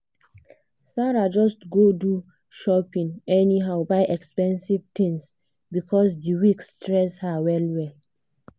sarah just go do shopping anyhow buy expensive things because the week stress her well well.